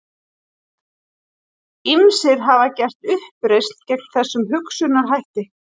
Ýmsir hafa gert uppreisn gegn þessum hugsunarhætti.